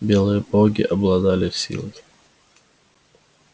белые боги обладали силой